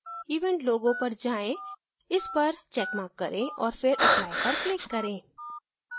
event logo पर जाएँ इस पर checkmark करें और फिर apply पर click करें